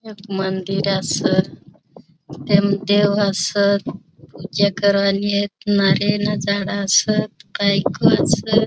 एक मंदिर अस तेम देव अस नारय ना झाड़ अस काई क अस.